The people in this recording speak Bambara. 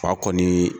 Fa kɔni